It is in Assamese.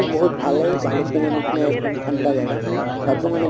বহুত ভালে ভালুক্লুংৰ নিছিনাই এক্দম ঠান্দা জাগা, তাতো মানে